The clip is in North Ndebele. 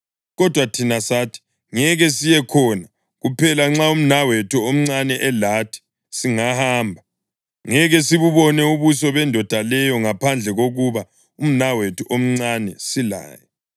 Kodwa thina sathi, ‘Ngeke siye khona. Kuphela nxa umnawethu omncane elathi, singahamba. Ngeke sibubone ubuso bendoda leyo ngaphandle kokuba umnawethu omncane silaye.’